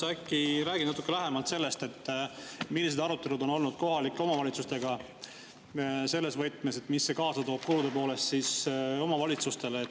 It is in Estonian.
Palun räägi natuke lähemalt sellest, millised arutelud on olnud kohalike omavalitsustega selle üle, mida see kaasa toob kulude poolest omavalitsustele.